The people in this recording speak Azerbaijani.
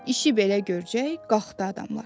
İşi belə görcək, qaxdı adamlar.